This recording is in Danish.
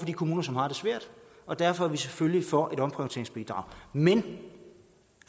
de kommuner som har det svært og derfor er vi selvfølgelig for et omprioriteringsbidrag men